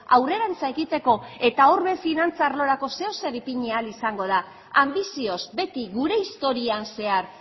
aurrerantz egiteko eta hor ere finantza arlorako zer edo zer ipini ahal izango da anbizioz beti gure historian zehar